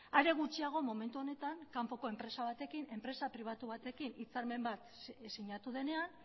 are gutxiago momentu honetan kanpoko enpresa batek enpresa pribatu batekin hitzarmen bat sinatu denean